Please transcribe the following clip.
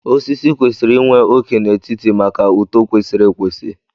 Osisi kwesịrị inwe óké n'etiti maka uto kwesịrị ekwesị